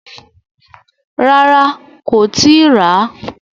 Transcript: Rárá, kò tíì ràá.